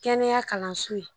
Kɛnɛya kalanso ye